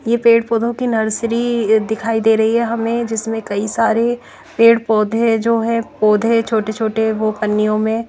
ये पेड़ पौधों की नर्सरी दिखाई दे रही हैं हमें जिसमें कई सारे पेड़ पौधे जो है पौधे छोटे छोटे वो पन्नियों में--